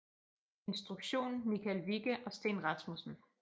Instruktion Michael Wikke og Steen Rasmussen